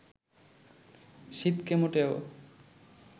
শীতকে মোটেও